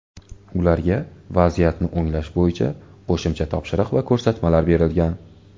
Ularga vaziyatni o‘nglash bo‘yicha qo‘shimcha topshiriq va ko‘rsatmalar berilgan.